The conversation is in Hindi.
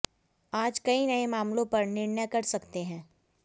आज कई नए मामलों पर निर्णय कर सकते हैं